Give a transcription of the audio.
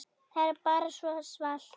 Það er bara svo svalt.